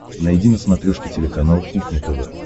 найди на смотрешке телеканал кухня тв